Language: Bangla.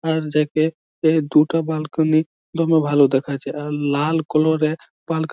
আর যাকে এই দুটো বালকোনি খুবই ভালো দেখাচ্ছে। লাল কালারের --